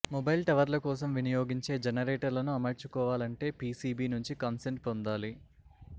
mobile టవర్ల కోసం వినియోగించే జనరేటర్లను అమర్చుకోవాలంటే పీసీబీ నుంచి కాన్సెంట్ పొందాలి